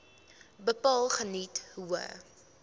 bepaal geniet hoë